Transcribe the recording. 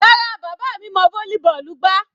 Rárá, bàbá mi mọ volleyball gbá.